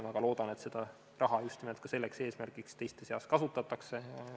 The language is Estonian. Ma väga loodan, et seda raha just nimelt selleks eesmärgiks teiste seas kasutatakse.